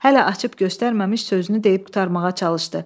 Hələ açıb göstərməmiş sözünü deyib qurtarmağa çalışdı.